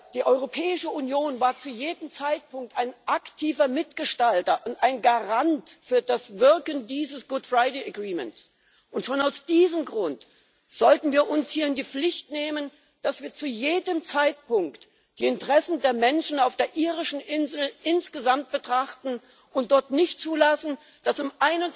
Die Europäische Union war zu jedem Zeitpunkt ein aktiver Mitgestalter und ein Garant für das Wirken dieses Karfreitagsabkommens, und schon aus diesem Grund sollten wir uns hier in die Pflicht nehmen, das wir zu jedem Zeitpunkt die Interessen der Menschen auf der irischen Insel insgesamt betrachten und dort nicht zulassen, dass im